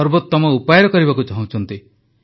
ସର୍ବୋତମ ଉପାୟରେ କରିବାକୁ ଚାହୁଁଛନ୍ତି